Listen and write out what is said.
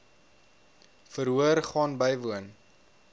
verhoor gaan bywoon